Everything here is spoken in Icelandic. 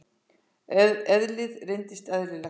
Eðlið reynist eðlilegt.